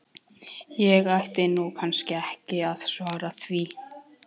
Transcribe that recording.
Ég ætti nú kannski ekki að svara því.